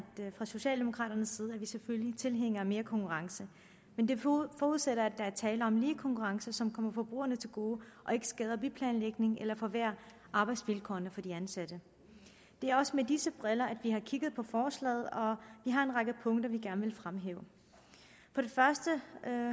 fra socialdemokraternes side er vi selvfølgelig tilhængere af mere konkurrence men det forudsætter at der er tale om lige konkurrence som kommer forbrugerne til gode og ikke skader byplanlægning eller forværrer arbejdsvilkårene for de ansatte det er også med disse briller at vi har kigget på forslaget og vi har en række punkter vi gerne vil fremhæve først